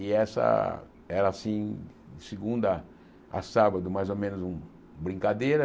E essa era, assim, de segunda a sábado, mais ou menos uma brincadeira.